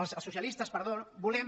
els socialistes perdó volem